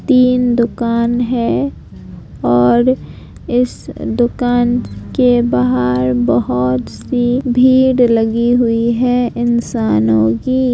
तीन दुकान हैं और इस दुकान के बाहर बहोत सी भीड़ लगी हुई है इंसानों की।